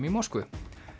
í Moskvu